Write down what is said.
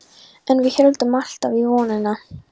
En við héldum alltaf í vonina.